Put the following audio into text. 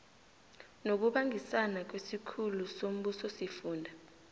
ngokubangisana nesikhulu sombusosifunda